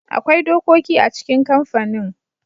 Akwai dokoki a cikin kamfanin.